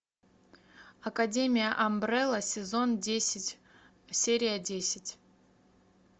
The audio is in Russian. академия амбрелла сезон десять серия десять